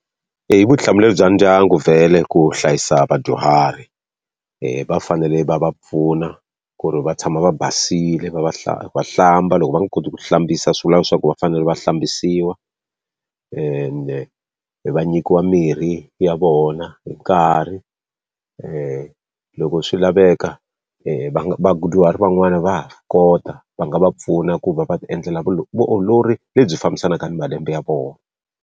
Eya i vutihlamuleri bya ndyangu vhele ku hlayisa vadyuhari. va fanele va va pfuna ku ri va tshama va basile, va va va hlamba loko va nga koti ku ti hlambisa swi vula leswaku va fanele va hlambisiwa. Ende va nyikiwa mirhi ya vona hi nkarhi, loko swi laveka van'wana va ha swi kota va nga va pfuna ku va va ti endlela vutiolori lebyi fambisanaka na malembe ya vona.